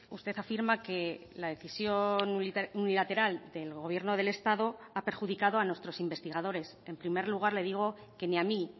usted afirma que la decisión unilateral del gobierno del estado ha perjudicado a nuestros investigadores en primer lugar le digo que ni a mí